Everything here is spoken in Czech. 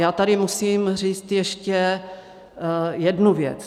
Já tady musím říct ještě jednu věc.